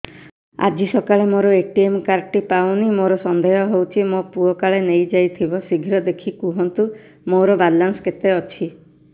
ଆଜି ସକାଳେ ମୋର ଏ.ଟି.ଏମ୍ କାର୍ଡ ଟି ପାଉନି ମୋର ସନ୍ଦେହ ହଉଚି ମୋ ପୁଅ କାଳେ ନେଇଯାଇଥିବ ଶୀଘ୍ର ଦେଖି କୁହନ୍ତୁ ମୋର ବାଲାନ୍ସ କେତେ ଅଛି